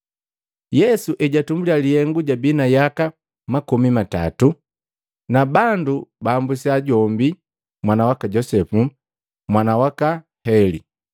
Yesu ejatumbulya lihengu jabi na yaka makomi matatu, na bandu baambusiya jombi mwana waka Josepu, mwana waka Heli.